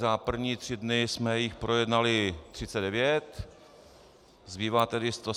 Za první tři dny jsme jich projednali 39, zbývá tedy 173 bodů.